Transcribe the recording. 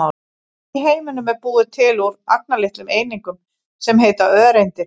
Allt í heiminum er búið til úr agnarlitlum einingum sem heita öreindir.